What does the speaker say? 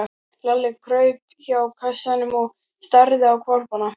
Lalli kraup hjá kassanum og starði á hvolpana.